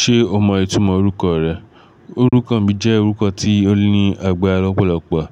Ṣé o mọ ìtumọ̀ orúkọ rẹ? Orúkọ mi jẹ́ orúkọ tí ó ní àgbára lọ́pọ̀lọ́pọ̀,